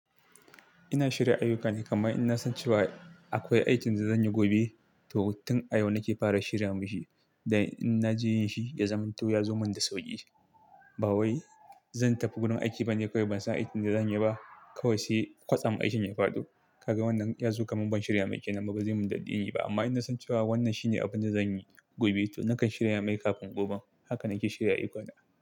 Ina shirya ayukana, kamma in na san cewa akwai aikin da zan yi gobe, to tun a yau nake fara shirya mashi dan in na je yin shi ya zamto, ya zo mun da sauƙi. Ba wai zan tafi gurin aiki ba ne kawai ban san aikin da zan yi ba, kawai sai kwatsam aikin ya fado. Kaga wannan ya zo, kamun ban shirya mai ke nan bazai mun daddin yi ba. Amma in na san cewa wannan shine abin da zan yi gobe, to nakan shirya mai kafin gobe. Haka nake shirya ayukana.